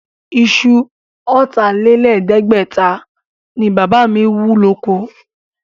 Isu ọ̀tà-lé-lẹ̀ẹ́dẹ́gbẹ̀ta ni Bàbá mi wú lóko.